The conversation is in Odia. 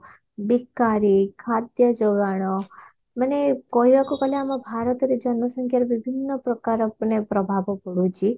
ବେକାରି ଖାଦ୍ୟ ଯୋଗାଣ ମାନେ କହିବାକୁ ଗଲେ ଆମ ଭାରତରେ ଜନସଂଖ୍ୟାର ବିଭିନ୍ନ ପ୍ରକାର ମାନେ ପ୍ରଭାବ ପଡୁଛି